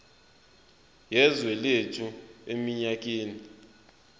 yezwe lethu eminyakeni